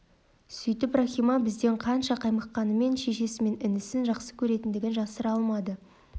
сөйтіп рахима бізден қанша қаймыққанымен шешесі мен інісін жақсы көретіндігін жасыра алмады